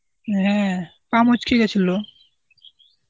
হ্যাঁ পা মচকে গেছিল.